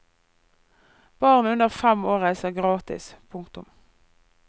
Barn under fem år reiser gratis. punktum